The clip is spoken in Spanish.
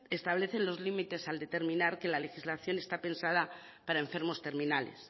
establecen los límites al determinar que la legislación está pensada para enfermos terminales